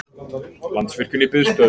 Landsvirkjun í biðstöðu